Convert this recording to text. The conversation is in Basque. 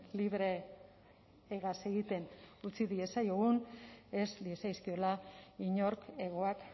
libre hegaz egiten utzi diezaiogun ez diezaizkiola inork hegoak